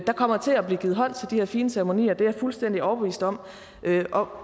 kommer til at blive givet hånd til de her fine ceremonier det er jeg fuldstændig overbevist om om